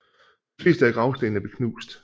De fleste af gravstenene blev knust